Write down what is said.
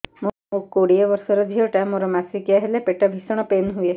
ମୁ କୋଡ଼ିଏ ବର୍ଷର ଝିଅ ଟା ମୋର ମାସିକିଆ ହେଲେ ପେଟ ଭୀଷଣ ପେନ ହୁଏ